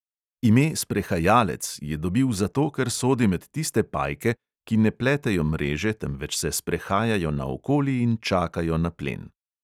Ime sprehajalec je dobil zato, ker sodi med tiste pajke, ki ne pletejo mreže, temveč se sprehajajo naokoli in čakajo na plen.